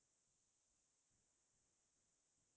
টাৱাংত ক্'ত ক্'ত গৈছিলা তুমি ?